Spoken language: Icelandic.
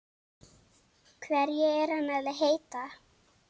Hverju er hann að heita?